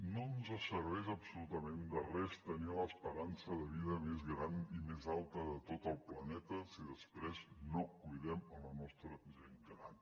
no ens en serveix absolutament de res tenir l’esperança de vida més gran i més alta de tot el planeta si després no cuidem la nostra gent gran